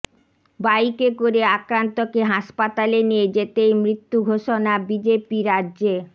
বাইকে করে আক্রান্তকে হাসপাতালে নিয়ে যেতেই মৃত্যু ঘোষণা বিজেপি রাজ্যে